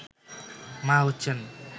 মা হচ্ছেন